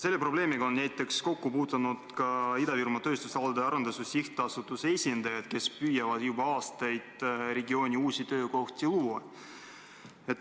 Selle probleemiga on kokku puutunud näiteks Ida-Virumaa Tööstusalade Arendamise SA esindajad, kes püüavad juba aastaid regiooni uusi töökohti luua.